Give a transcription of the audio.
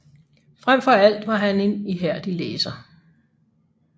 Frem for alt var han en ihærdig læser